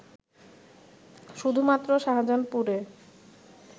শুধুমাত্র শাহজাহানপুরে